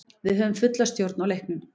Við höfðum fulla stjórn á leiknum.